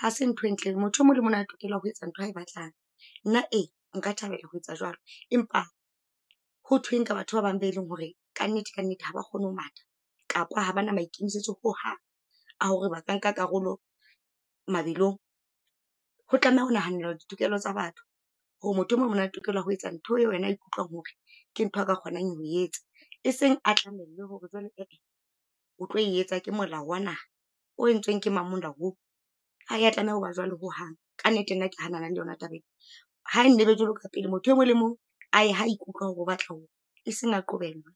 hase ntho e ntle, motho e mong le mong o na le tokelo ya ho etsa nthwa a e batlang. Nna e, nka thabela ho etsa jwalo. Empa ho thweng ka batho ba bang be leng hore kannete, kannete ha ba kgone ho matha, kapa ha bana maikemisetso ho hang, a hore ba ka nka karolo mabelong. Ho tlameha ho nahanelwa ditokelo tsa batho, hore motho e mong o na le tokelo ya ho etsa ntho eo yena a ikutlwang hore, ke ntho ka kgonang ho etsa. E seng a tlamellwe hore jwale e e o tlo etsa, ke molao wa naha. O entsweng ke mang molao oo, ha e ya tlameha hoba jwalo ho hang, ka nnete nna ke hanana le yona taba e. Ha e nne e be jwalo ka pele, motho e mong le mong a ye ha a ikutlwa hore o batla ho ya, e seng a qobellwe.